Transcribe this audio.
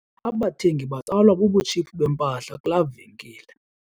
Abathengi batsalwa bubutshiphu bempahla kulaa venkile.